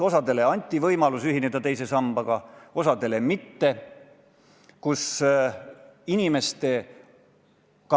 Osale anti võimalus ühineda teise sambaga, osale mitte.